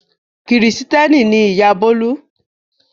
Kìrìtẹ́ẹ́nì ni ìyá Bólú.